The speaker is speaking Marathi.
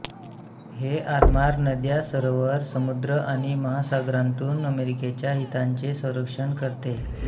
हे आरमार नद्या सरोवर समुद्र आणि महासागरांतून अमेरिकेच्या हितांचे संरक्षण करते